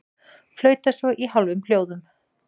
Flauta svo í hálfum hljóðum.